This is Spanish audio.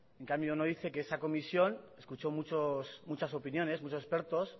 en cambio no dice que esa comisión escuchó muchas opiniones muchos expertos